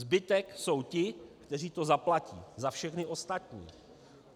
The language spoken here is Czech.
Zbytek jsou ti, kteří to zaplatí za všechny ostatní.